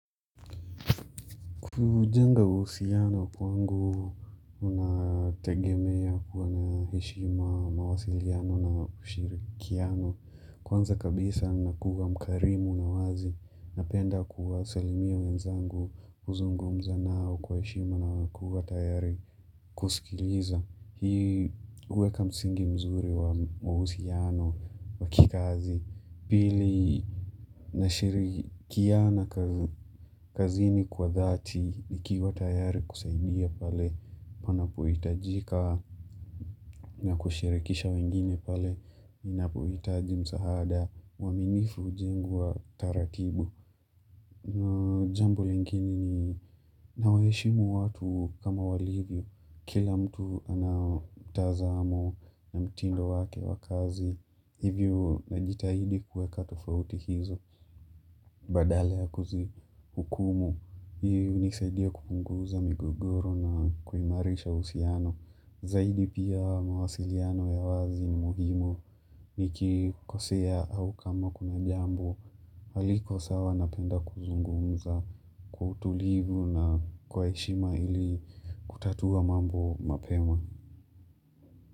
Kujenga uhusiano kwangu unategemea kuwa na heshima, mawasiliano na ushirikiano. Kwanza kabisa ninakuwa mkarimu na wazi napenda kuwasalimia wenzangu kuzungumza nao kwa heshima na kuwa tayari kusikiliza. Hii uweka msingi mzuri wa mahusiano wa kikazi. Pili nashirikiana kazini kwa dhati ikiwa tayari kusaidia pale, wanapohitajika na kushirikisha wengine pale, wanapohitaji msaada, uaminifu ujingu wa taratibu. Na jambo lingine, ni nawaheshimu watu kama walivyo, kila mtu anao tazamo na mtindo wake wa kazi, hivyo najitahidi kueka tofauti hizo, badala ya kuzihukumu, hii hunisaidia kupunguza migogoro na kuimarisha uhusiano, zaidi pia mawasiliano ya wazi muhimu, hiki kosea au kama kuna jambo, Haliko sawa napenda kuzungumza kwa utulivu na kwa heshima ili kutatua mambo mapema.